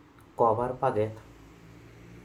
Kobar paket